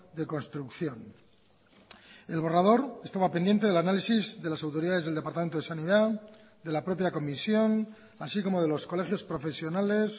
de construcción el borrador estaba pendiente del análisis de las autoridades del departamento de sanidad de la propia comisión así como de los colegios profesionales